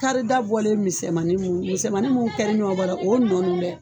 Karida bɔlen misɛnmani mun misɛnmani mun kɛri ɲɔn bɔra o nɔ nun dɛ